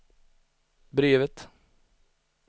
brevet